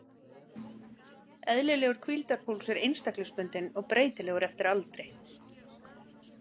Eðlilegur hvíldarpúls er einstaklingsbundinn og breytilegur eftir aldri.